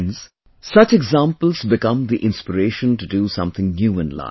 Friends, such examples become the inspiration to do something new in life